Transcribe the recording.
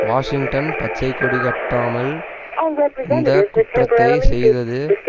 Washington பச்சைக்கொடிகட்டாமல் இந்த குற்றத்தை செய்தது